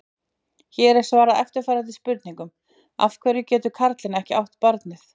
Hér er svarað eftirfarandi spurningum: Af hverju getur karlinn ekki átt barnið?